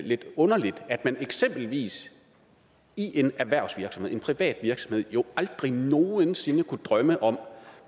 lidt underligt at man eksempelvis i en erhvervsvirksomhed en privat virksomhed jo aldrig nogen sinde kunne drømme om